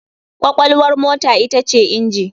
Kwakwalwar mota ita ce inji.